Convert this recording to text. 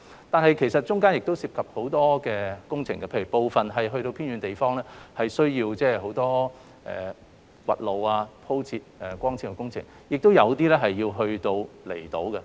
但是，其實中間亦涉及很多工程，例如在偏遠的地方，需要進行很多挖地、鋪設光纖的工程，亦有一些工程要在離島進行。